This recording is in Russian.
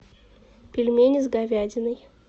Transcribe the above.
пельмени с говядиной